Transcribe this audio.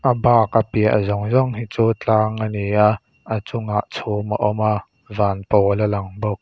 a bak a piah zawng zawng hi chu tlang a ni a a chungah chhum a awm a van pawl a lang bawk.